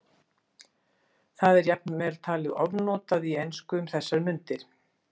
Það er jafnvel talið ofnotað í ensku um þessar mundir.